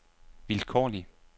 vilkårlig